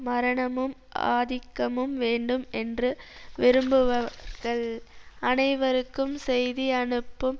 மரணமும் ஆதிக்கமும் வேண்டும் என்று விரும்புவர்கள் அனைவருக்கும் செய்தி அனுப்பும்